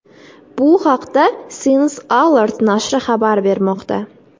Bu haqda Science Alert nashri xabar bermoqda .